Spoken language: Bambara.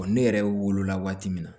ne yɛrɛ wolo la waati min na